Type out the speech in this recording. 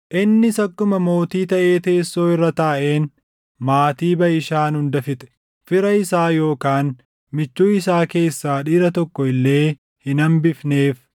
Innis akkuma mootii taʼee teessoo irra taaʼeen maatii Baʼishaan hunda fixe. Fira isaa yookaan michuu isaa keessaa dhiira tokko illee hin hambifneef.